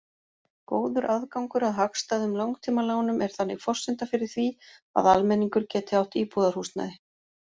Góður aðgangur að hagstæðum langtímalánum er þannig forsenda fyrir því að almenningur geti átt íbúðarhúsnæði.